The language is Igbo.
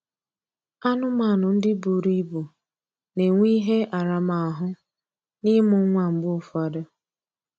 Anụmanụ ndị buru ibu na-enwe ihe aramahụ n'ịmụ nwa mgbe ụfọdụ